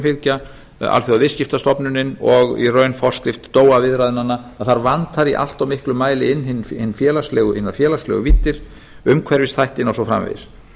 fylgja alþjóðaviðskiptastofnunin og í raun forskrift viðræðnanna að það vantar í allt of miklum mæli hinar félagslegu víddir umhverfisþættina og svo framvegis